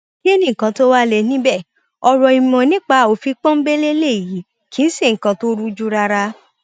kí ni nǹkan tó wàá lè níbẹ ọrọ ìmọ nípa òfin pọńńbélé lèyí kì í ṣe nǹkan tó rújú rárá